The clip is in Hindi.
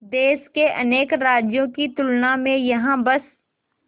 देश के अनेक राज्यों की तुलना में यहाँ बस